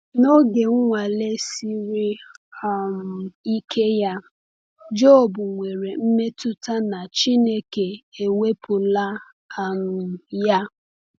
N’oge nnwale siri um ike ya, Jọb nwere mmetụta na Chineke ewepụla um ya.